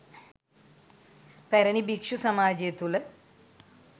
පැරණි භික්‍ෂු සමාජය තුළ